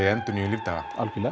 í endurnýjun lífdaga